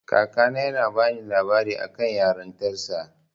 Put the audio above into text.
Kakana yana bani labarin akan yarintarsa.